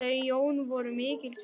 Þau Jón voru mikils virt.